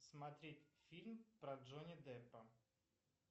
смотреть фильм про джонни деппа